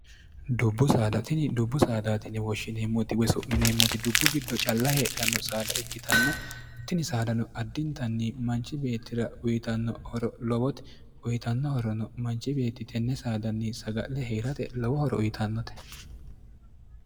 dubbu saadatini dubbu saadaatinni woshshineemmoti wesu'mineemmoti dubbu giddo calla heedhanno saada ikkitanna tini saadano addintanni manchi beettira uyitanno horo lowoti uyitannohorono manchi beetti tenne saadanni saga'le hee'rate lowo horo uyitannote